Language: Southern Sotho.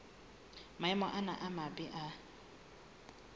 maemo ana a mabe a